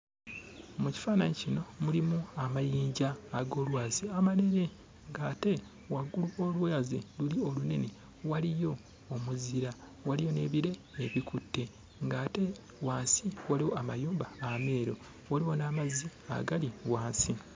Mu kifaananyi kino mulimu amayinja ag'olwazi amanene, ng'ate waggulu w'olwazi luli olunene waliyo omuzira, waliyo n'ebire ebikutte ng'ate wansi waliwo amayumba ameeru, waliwo n'amazzi agali wansi.